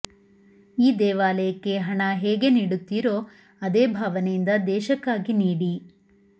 ಈ ದೇವಾಲಯಕ್ಕೆ ಹಣ ಹೇಗೆ ನೀಡುತ್ತೀರೋ ಅದೇ ಭಾವನೆಯಿಂದ ದೇಶಕ್ಕಾಗಿ ನೀಡಿ